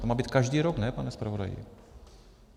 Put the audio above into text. To má být každý rok, ne, pane zpravodaji?